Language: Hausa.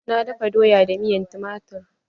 Na dafa doya da miyan tumatir.